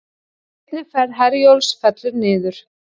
Seinni ferð Herjólfs fellur niður